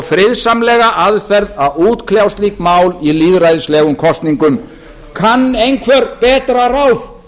friðsamlega aðferð að útkljá slík mál í lýðræðislegum kosningum kann einhver betra ráð